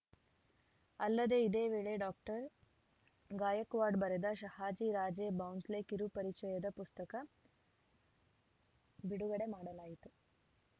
ಅಲ್ಲದೇ ಇದೇ ವೇಳೆ ಡಾಕ್ಟರ್ ಗಾಯಕ್ವಾಡ್‌ ಬರೆದ ಶಹಾಜಿ ರಾಜೇ ಬೌಂಸ್ಲೆ ಕಿರು ಪರಿಚಯದ ಪುಸ್ತಕ ಬಿಡುಗಡೆ ಮಾಡಲಾಯಿತು